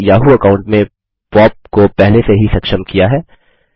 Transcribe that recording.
मैंने Yahoo account में POP को पहले से ही सक्षम किया है